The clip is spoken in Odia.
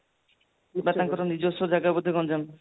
ତାଙ୍କର ନିଜସ୍ଵ ଜାଗା ବୋଧେ ଗଞ୍ଜାମ